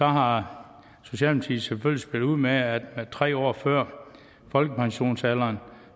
har spillet ud med at tre år før folkepensionsalderen